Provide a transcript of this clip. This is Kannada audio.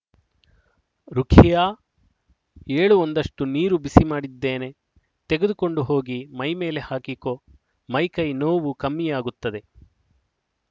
ರುಖಿಯಾ ಏಳು ಒಂದಷ್ಟು ನೀರು ಬಿಸಿ ಮಾಡಿದ್ದೇನೆ ತೆಗೆದುಕೊಂಡು ಹೋಗಿ ಮೈ ಮೇಲೆ ಹಾಕಿಕೊ ಮೈ ಕೈ ನೋವು ಕಮ್ಮಿಯಾಗುತ್ತದೆ